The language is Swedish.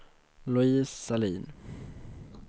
Louise Sahlin